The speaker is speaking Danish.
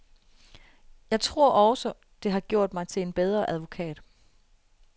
Jeg tror også, det har gjort mig til en bedre advokat.